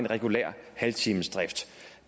regulær halvtimesdrift